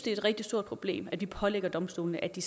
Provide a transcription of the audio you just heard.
er et rigtig stort problem at vi pålægger domstolene at de